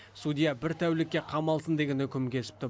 судья бір тәулікке қамалсын деген үкім кесіпті